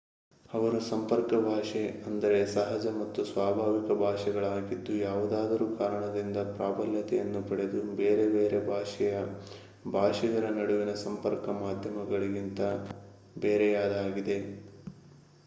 ಅವು ಸಂಪರ್ಕ ಭಾಷೆ ಅಂದರೆಸಹಜ ಮತ್ತು ಸ್ವಾಭಾವಿಕ ಭಾಷೆಗಳಾಗಿದ್ದು ಯಾವುದಾದರೂ ಕಾರಣದಿಂದ ಪ್ರಾಬಲ್ಯತೆಯನ್ನು ಪಡೆದು ಬೇರೆ ಬೇರೆ ಭಾಷೆಯ ಭಾಷಿಗರ ನಡುವಿನ ಸಂಪರ್ಕ ಮಾಧ್ಯಮ ಗಳಿಗಿಂತ ಬೇರೆಯಾಗಿದೆ